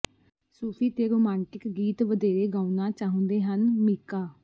ਸੂਫੀ ਤੇ ਰੋਮਾਂਟਿਕ ਗੀਤ ਵਧੇਰੇ ਗਾਉਣਾ ਚਾਹੰੁਦੇ ਹਨ ਮੀਕਾ